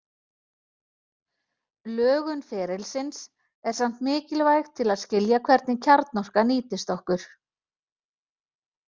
Lögun ferilsins er samt mikilvæg til að skilja hvernig kjarnorka nýtist okkur.